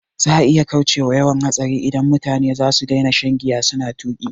Za'a iya kaucewa yawan hatsari idan da mutane zasu daina shan giya suna tuƙi